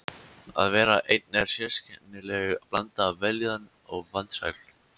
Að vera einn er sérkennileg blanda af vellíðan og vansæld.